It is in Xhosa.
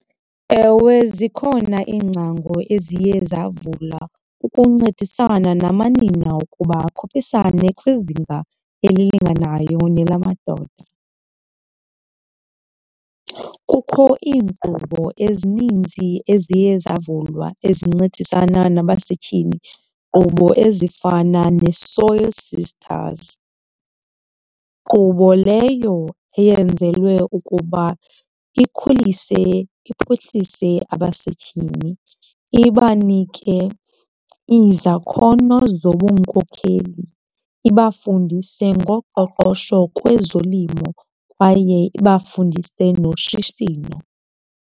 Ewe, zikhona iingcango eziye zavula ukuncedisana namanina ukuba akhuphisane kwizinga elilinganayo nelamadoda. Kukho iinkqubo ezininzi eziye zavulwa ezincedisana nabasetyhini, iinkqubo ezifana neSoil Sisters. Nkqubo leyo eyenzelwe ukuba ikhulise, iphuhlise abasetyhini, ibanike izakhono zobunkokheli, ibafundise ngoqoqosho kwezolimo kwaye ibafundise noshishino.